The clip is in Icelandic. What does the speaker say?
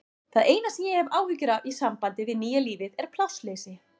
Það eina sem ég hef áhyggjur af í sambandi við nýja lífið er plássleysi.